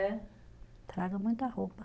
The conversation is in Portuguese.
É. Estraga muito a roupa.